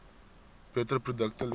beter produkte lewer